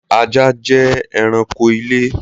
Ajá jẹ́ ẹranko ilé